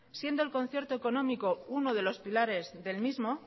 siendo el concierto económico uno de los pilares del mismo